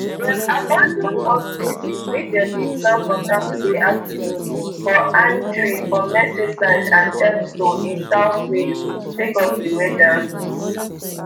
dem abandon horse races wey dem bin plan for saturday afternoon for aintree for merseyside and chepstow in south wales sake of di weather